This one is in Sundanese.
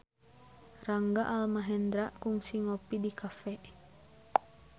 Rangga Almahendra kungsi ngopi di cafe